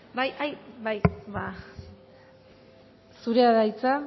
bai zurea da hitza